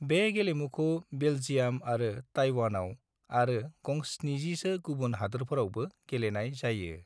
बे गेलेमुखौ बेल्जियाम आरो ताइवानाव आरो गं-70 सो गुबुन हादोरफोरावबो गेलेनाय जायो।